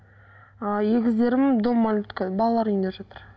ааа егіздерім дом малютка балалар үйінде жатыр